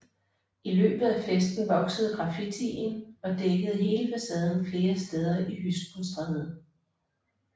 I løbet af festen voksede graffitien og dækkede hele facaden flere steder i Hyskenstræde